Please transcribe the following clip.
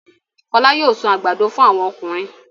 Fọlá yóò sun àgbàdo fún àwọn ọkùnrin.